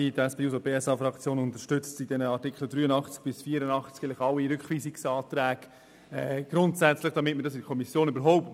Die SP-JUSO-PSA-Fraktion unterstützt mit den Artikeln 83 bis 84 grundsätzlich alle Rückweisungsanträge.